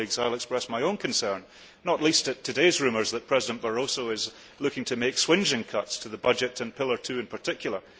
Like other colleagues, I wish to express my own concern, not least at today's rumours that President Barroso is looking to make swingeing cuts to the budget and Pillar Two in particular.